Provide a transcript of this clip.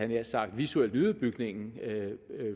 nær sagt visuelt nyde bygningen